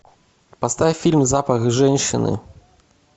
поставь фильм запах женщины